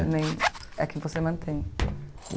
é a que você mantém?